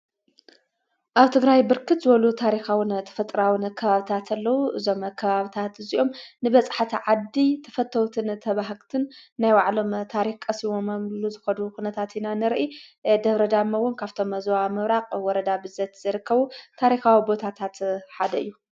ኣብ ትግራይ ብርክት ዝበሉ ታሪኻውን ተፈጥራውን ከባብታትለዉ ዞም ኽባብታት እዙኦም ንበጽሕቲ ዓዲ ተፈተዉትን ተባህኽትን ናይ ዋዕሎም ታሪስዎ ኣምሉ ዝኸዱ ዂነታት ናንርኢ ደብረዳሞ እ ውን ካብቶም ዝዋ ምብራቕ ወረዳ ብዘት ዝርከቡ ታሪኻዊ ቦታታት ሓደ እዩ።